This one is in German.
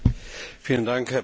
Herr Präsident!